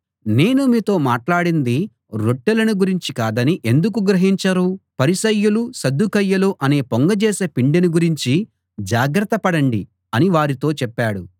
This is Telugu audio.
నేను మీతో మాట్లాడింది రొట్టెలను గురించి కాదని ఎందుకు గ్రహించరు పరిసయ్యులు సద్దూకయ్యులు అనే పొంగజేసేపిండిని గురించి జాగ్రత్త పడండి అని వారితో చెప్పాడు